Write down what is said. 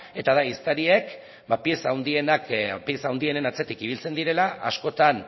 eta da ehiztariek pieza handienen atzetik ibiltzen direla askotan